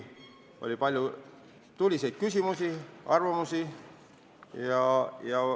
Oli palju tuliseid küsimusi ja arvamusavaldusi.